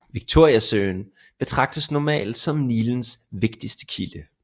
Victoriasøen betragtes normalt som Nilens vigtigste kilde